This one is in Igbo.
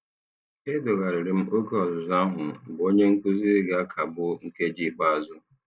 Edogharịrị m oge ọzụzụ ahụ mgbe onye nkuzi ga-akagbu nkeji ikpeazụ.